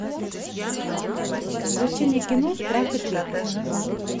включи мне кино страх и трепет